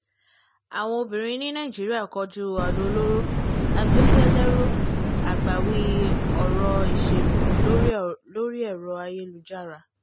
àwọn obìnrin ní nàìjíríà kojú adò-olóró agbéṣẹ́lérò àgbàwí ọ̀rọ̀ ìṣèlú lórí ẹ̀rọ-ayélujára